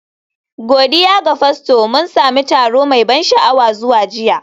Godiya ga Fasto, mun sami taro mai ban sha'awa zuwa jiya